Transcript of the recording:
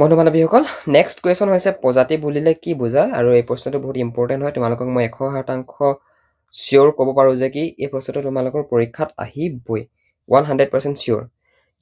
বন্ধু বান্ধৱী সকল, next হৈছে প্ৰজাতি বুলিলে কি বুজা? আৰু এই প্ৰশ্নটো বহুত important হয় তোমালোকক মই এশ শতাংশ sure কব পাৰো যে কি এই প্ৰশ্নটো তোমালোকৰ পৰীক্ষাত আহিবই। one hundred percent sure